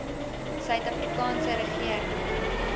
suid afrikaanse regering